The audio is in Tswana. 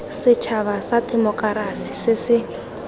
setšhaba sa temokerasi se se